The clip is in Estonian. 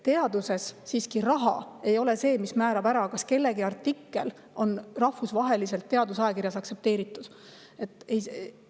Teaduses ei ole raha see, mis määrab, kas kellegi artikkel on rahvusvaheliselt aktsepteeritud teadusajakirjas.